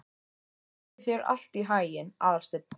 Gangi þér allt í haginn, Aðalsteinn.